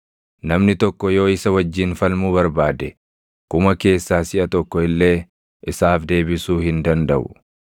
Namni tokko yoo isa wajjin falmuu barbaade kuma keessaa siʼa tokko illee isaaf deebisuu hin dandaʼu.